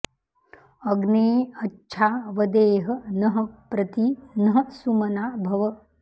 अग्ने॒ अच्छा॑ वदे॒ह नः॒ प्रति॑ नः सु॒मना॑ भव